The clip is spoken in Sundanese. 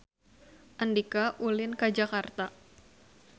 Andika ulin ka Jakarta